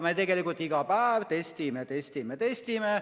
Me tegelikult iga päev testime, testime, testime.